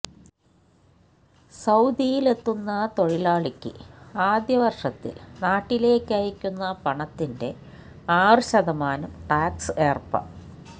സൌദിയിലെത്തുന്ന തൊഴിലാളിക്ക് ആദ്യ വർഷത്തിൽ നാട്ടിലേക്കയക്കുന്ന പണത്തിന്റെ ആറ് ശതമാനം ടാക്സ് ഏർപ